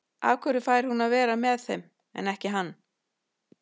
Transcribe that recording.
Af hverju fær hún að vera með þeim en ekki hann?